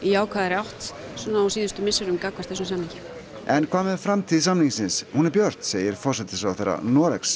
jákvæðari átt svona á síðustu misserum gagnvart þessum samningi en hvað með framtíð samningsins hún er björt segir forsætisráðherra Noregs